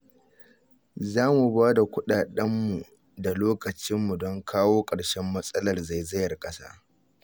Za mu ba da kuɗaɗenmu da lokacinmu don kawo ƙarshen matsalar zaizayar ƙasa